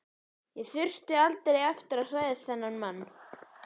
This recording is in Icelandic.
Ég þurfti aldrei aftur að hræðast þennan mann.